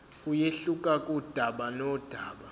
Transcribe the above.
kuyehluka kudaba nodaba